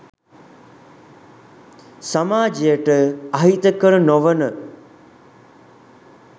සමාජයට අහිතකර නොවන